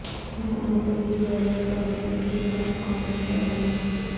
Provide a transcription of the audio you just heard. حکومتوں کی زرعی پالیسی کے خلاف کانگریس کا دھرنا